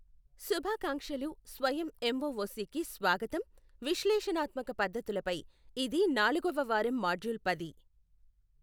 శుభాకాంక్షలు స్వయం ఎంఒఒసికి స్వాగతం, విశ్లేషణాత్మక పద్ధతులపై ఇది నాలుగవ వారం మాడ్యూల్ పది.